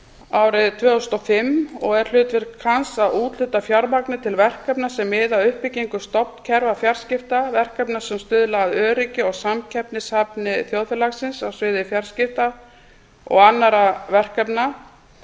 árið tvö þúsund og fimm og er hlutverk hans að úthluta fjármagni til verkefna sem miða að uppbyggingu stofnkerfa fjarskipta verkefna sem stuðla að öryggi og samkeppnishæfni þjóðfélagsins á sviði fjarskipta og annarra verkefna